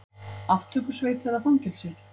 Aftökusveit eða fangelsi?